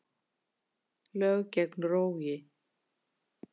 Lög gegn rógi